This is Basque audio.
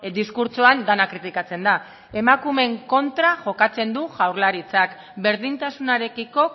diskurtsoan dena kritikatzen da emakumeen kontra jokatzen du jaurlaritzak berdintasunarekiko